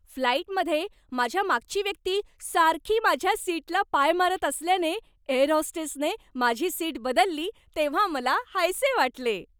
फ्लाइटमधे माझ्या मागची व्यक्ती सारखी माझ्या सीटला पाय मारत असल्याने, एअर होस्टेसने माझी सीट बदलली तेव्हा मला हायसे वाटले.